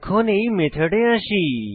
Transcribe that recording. এখন এই মেথডে আসি